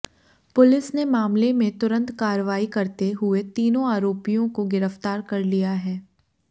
police ने मामले में तुरंत कार्रवाई करते हुए तीनों आरोपियों को गिरफ्तार कर लिया है